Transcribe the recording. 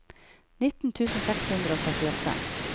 nitten tusen seks hundre og trettiåtte